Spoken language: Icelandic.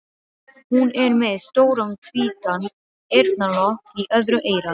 Hún er með stóran hvítan eyrnalokk í öðru eyra.